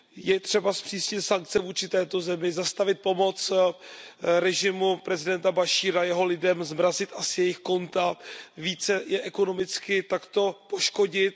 Je třeba zpřísnit sankce vůči této zemi, zastavit pomoc režimu prezidenta Bašíra, jeho lidem, zmrazit asi jejich konta, více je ekonomicky takto poškodit.